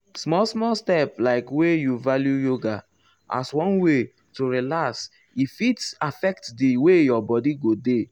small small step like wey you value yoga as one way to relax e fit affect di way your body go dey.